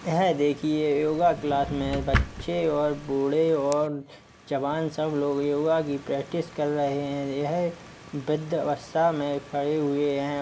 यह देखिये yoga class में बच्चे और बूढ़े और जवान सब लोग योगा की प्रेक्टिस कर रहें हैं। यह वृद्द आवस्था में खड़े हुए हैं।